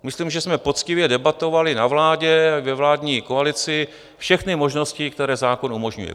Myslím, že jsme poctivě debatovali na vládě i ve vládní koalici všechny možnosti, které zákon umožňuje.